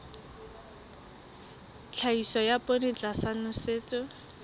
tlhahiso ya poone tlasa nosetso